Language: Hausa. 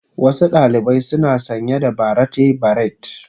Wasu ɗalibai suna sanye da barrate beret.